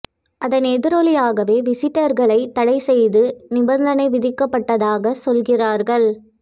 அதன் எதிரொலியாகவே விசிட்டர்களை தடை செய்து நிபந்தனை விதிக்கப்பட்டதாக சொல்கிறார்கள்